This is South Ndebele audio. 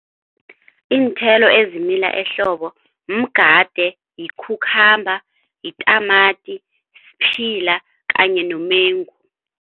Iinthelo ezimila ehlobo mgade, yi-cucumber, yitamati, siphila kanye nomengu.